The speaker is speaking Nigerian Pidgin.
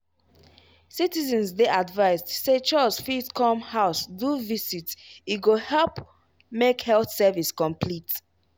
citizens dey advised say chws fit come house do visit e go help make health service complete.